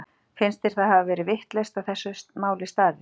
Finnst þér hafa verið vitlaust að þessu máli staðið?